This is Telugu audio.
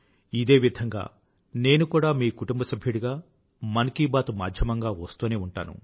ఇదేవిధంగా నేను కూడా మీ కుటుంబసభ్యుడిగా మన్ కీ బాత్ మాధ్యమంగా వస్తూనే ఉంటాను